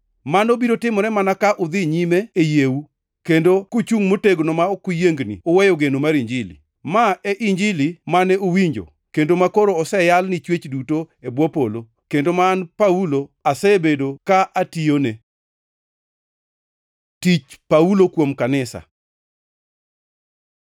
Mano biro timore mana ka udhi nyime e yieu, kendo kuchungʼ motegno ma ok uyiengni uweyo geno mar Injili. Ma e Injili mane uwinjo, kendo makoro oseyal ni chwech duto e bwo polo, kendo ma an Paulo asebedo ka atiyone. Tich Paulo kuom kanisa